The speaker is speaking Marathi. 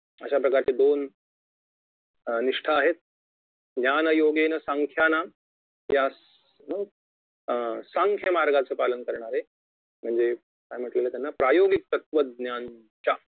अशाप्रकारच्या दोन निष्ठा आहेत ज्ञानयोगेन साख्यानां या अं अं सांख्य मार्गाचे पालन करणारे म्हणजे काय म्हंटलेले याला प्रायोगिक तत्वज्ञांच्या